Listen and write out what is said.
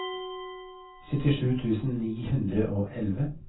syttisju tusen ni hundre og elleve